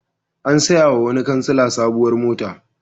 An sayawa wani kansila sabuwar mota.